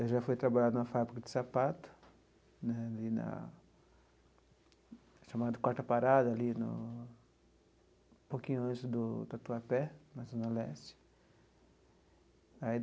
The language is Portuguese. Eu já fui trabalhar numa fábrica de sapato, né ali na chamado Quarta Parada, ali no um pouquinho antes do do Tatuapé, na zona leste aí.